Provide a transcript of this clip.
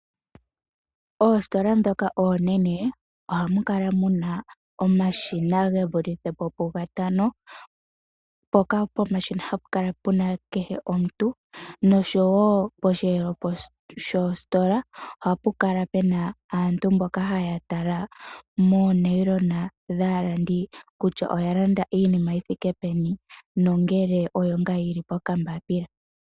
Oositola ndhoka oonene ohamu kala omashina gevulithe po pugatano. Mpoka pomashina hapu kala kehe omuntu nosho wo posheelo shositola oha pu kala pu na aantu mboka haya tala moonayilona dhaalandi, kutya oya landa iinima yi thike peni, nongele oyo ngaa yili pokambapila.